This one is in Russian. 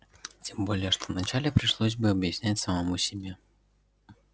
тем более что вначале пришлось бы объяснять самому себе